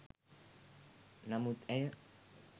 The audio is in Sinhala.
නමුත් ඇය